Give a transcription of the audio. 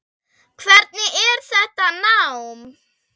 Hvernig er þetta nám?